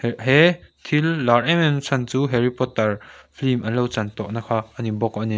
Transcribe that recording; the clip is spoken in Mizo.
he thil lar em em na chhan chu harry potter film an lo chan tawh na kha a ni bawk a ni.